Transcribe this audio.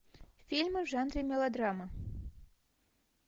фильмы в жанре мелодрама